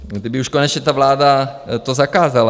kdyby už konečně ta vláda to zakázala.